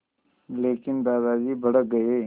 लेकिन दादाजी भड़क गए